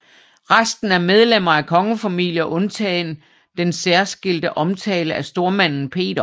Resten er medlemmer af kongefamilier undtagen den særskilte omtale af stormanden Peter